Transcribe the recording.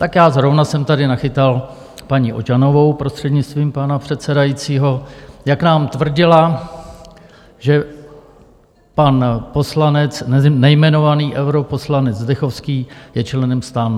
Tak já zrovna jsem tady nachytal paní Ožanovou, prostřednictvím pana předsedajícího, jak nám tvrdila, že pan poslanec, nejmenovaný europoslanec Zdechovský, je členem STAN.